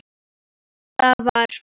Það var eins og létti yfir henni.